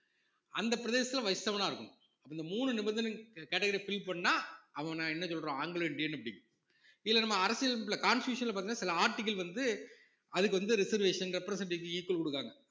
அந்த பிரதேசத்துல வசித்தவனா இருக்கணும் அப்ப இந்த மூணு நிபந்தனையும் category அ fill பண்ணா அவன என்ன சொல்றோம் ஆங்கிலோ இந்தியன் அப்படி இதுல நம்ம அரசியலமைப்புல constitution ல பார்த்தீங்கன்னா சில article வந்து அதுக்கு வந்து reservation representative equal கொடுக்குறாங்க